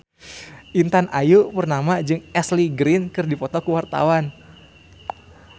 Intan Ayu Purnama jeung Ashley Greene keur dipoto ku wartawan